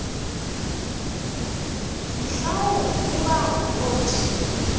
mhlawumbi ubani wothi